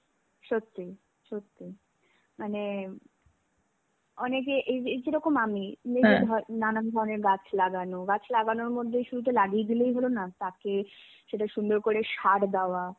সত্যি সত্যি, মানে অনেকে এই~ এই যেরকম আমি. নানান ধরনের গাছ গাছ লাগানো. গাছ লাগানোর মধ্যে শুধু তো লাগিয়ে দিলেই তো হলোনা. তাকে সুন্দর করে সার দেওয়া,